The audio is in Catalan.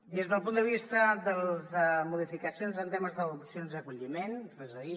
des del punt de vista de les modificacions en temes d’adopcions i acolliment res a dir